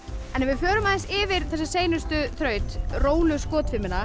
förum aðeins yfir þessa seinustu þraut